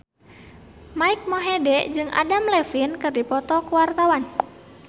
Mike Mohede jeung Adam Levine keur dipoto ku wartawan